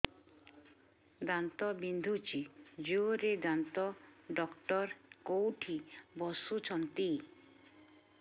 ଦାନ୍ତ ବିନ୍ଧୁଛି ଜୋରରେ ଦାନ୍ତ ଡକ୍ଟର କୋଉଠି ବସୁଛନ୍ତି